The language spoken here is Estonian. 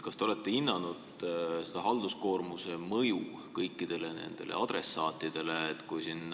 Kas te olete hinnanud halduskoormuse mõju kõikidele nendele adressaatidele?